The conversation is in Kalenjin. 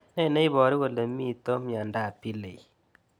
Ne neiparu kole mito miandap Pillay